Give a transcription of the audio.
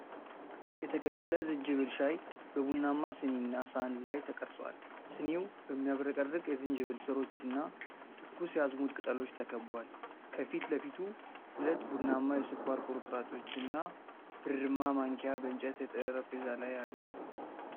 የተቀቀለ ዝንጅብል ሻይ በቡናማ ስኒ እና ሳህን ላይ ተቀርጿል። ስኒው በሚያብረቀርቅ የዝንጅብል ሥሮች እና ትኩስ የአዝሙድ ቅጠሎች ተከብቧል። ከፊት ለፊቱ ሁለት ቡናማ የስኳር ቁርጥራጮች እና ብርማ ማንኪያ በእንጨት ጠረጴዛ ላይ አሉ።